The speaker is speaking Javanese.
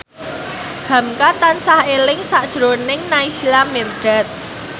hamka tansah eling sakjroning Naysila Mirdad